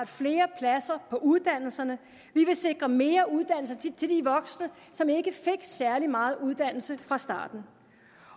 flere pladser på uddannelserne vi vil sikre mere uddannelse til de voksne som ikke fik særlig meget uddannelse fra starten